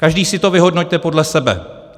Každý si to vyhodnoťte podle sebe.